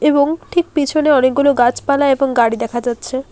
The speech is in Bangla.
এবং ঠিক পেছনে অনেকগুলো গাছপালা এবং গাড়ি দেখা যাচ্ছে।